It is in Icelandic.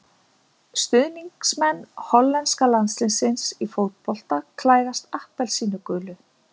Stuðningsmenn hollenska landsliðsins í fótbolta klæðast appelsínugulu.